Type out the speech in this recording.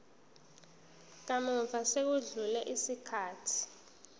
kamuva sekwedlule isikhathi